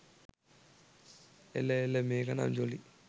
එල එල මේකනම් ජොලි